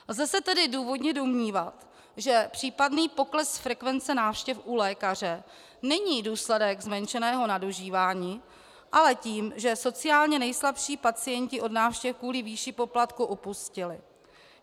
Lze se tedy důvodně domnívat, že případný pokles frekvence návštěv u lékaře není důsledek zmenšeného nadužívání, ale toho, že sociálně nejslabší pacienti od návštěv kvůli výši poplatku upustili.